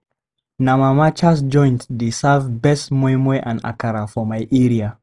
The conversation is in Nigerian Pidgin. Na Mama Cass joint dey serve best moi moi and akara for my area.